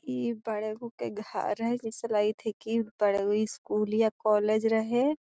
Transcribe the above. ई बड़ा गो के घर हई जैसे लगित है की बड़ा ई स्कूल या कॉलेज रहे।